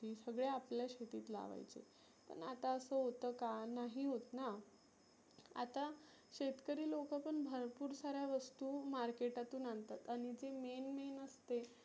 हे सगळ आपल्या शेतीत लावायचे. पण असं होत का? नाही होत ना. आता शेतकरी लोक पण भरपुर साऱ्या वस्तु market तुन आनतात. आणि जी main main असते